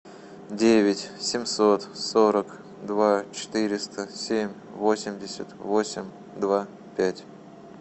девять семьсот сорок два четыреста семь восемьдесят восемь два пять